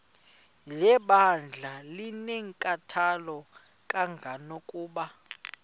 lebandla linenkathalo kangangokuba